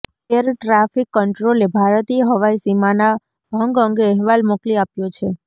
air traffic કન્ટ્રોલે ભારતીય હવાઈ સીમાના ભંગ અંગે અહેવાલ મોકલી આપ્યો છે